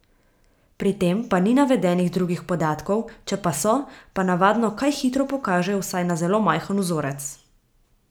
Pri tem pa ni navedenih drugih podatkov, če pa so, pa navadno kaj hitro pokažejo vsaj na zelo majhen vzorec.